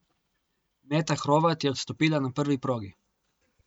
Meta Hrovat je odstopila na prvi progi.